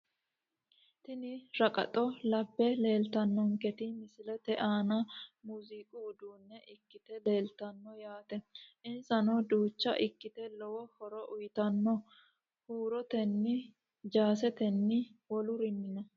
Tini raqaxxo labbe leeltanonketi misilete aann muuziqu uduune ikite leeltano yaate insano duucha ikite lowo horo uyiitano huuroteno jaaseteno wolurinino.